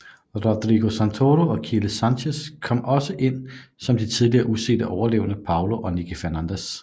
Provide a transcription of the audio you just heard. Rodrigo Santoro og Kiele Sanchez kom også ind som de tidligere usete overlevende Paulo og Nikki Fernandez